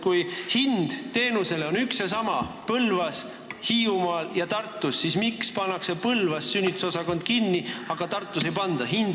Kui teenuse hind on Põlvas, Hiiumaal ja Tartus üks ja seesama, siis miks pannakse Põlvas sünnitusosakond kinni, aga Tartus ei panda?